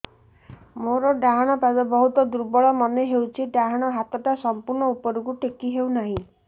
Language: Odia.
ମୋର ଡାହାଣ ପାଖ ବହୁତ ଦୁର୍ବଳ ମନେ ହେଉଛି ଡାହାଣ ହାତଟା ସମ୍ପୂର୍ଣ ଉପରକୁ ଟେକି ହେଉନାହିଁ